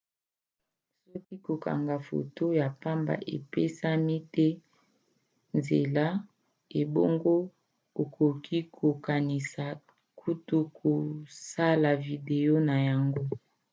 soki kokanga foto ya pamba epesami te nzela ebongo okoki kokanisi kutu kosala video na yango